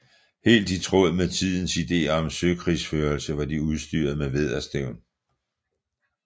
Helt i tråd med tidens ideer om søkrigsførelse var de udstyret med vædderstævn